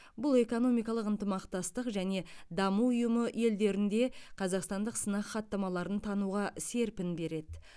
бұл экономиқалық ынтымастық және даму ұйымы елдерінде қазақстандық сынақ хаттамаларын тануға серпін береді